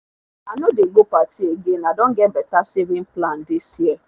i no dey go party again i don get better saving plan this year